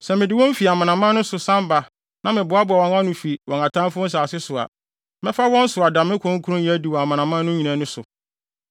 Sɛ mede wɔn fi amanaman no so san ba na meboaboa wɔn ano fi wɔn atamfo nsase so a, mɛfa wɔn so ada me kronkronyɛ adi wɔ amanaman no nyinaa ani so.